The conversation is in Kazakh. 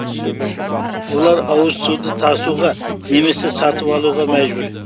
олар ауыз суды тасуға немесе сатып алуға мәжбүр